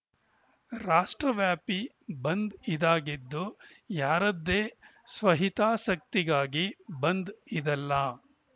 ರಾಷ್ಟ್ರವ್ಯಾಪಿ ಬಂದ್‌ ಇದಾಗಿದ್ದು ಯಾರದ್ದೇ ಸ್ವಹಿತಾಸಕ್ತಿಗಾಗಿ ಬಂದ್‌ ಇದಲ್ಲ